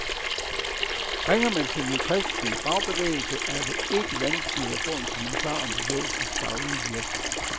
Ringer man til den kristelige fagbevægelse, er det ikke vanskeligt at få en kommentar om bevægelsens daglige virke.